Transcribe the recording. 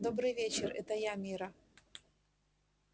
добрый вечер это я мирра